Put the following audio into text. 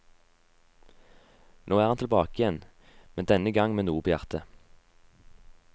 Nå er han tilbake igjen, men denne gang med noe på hjertet.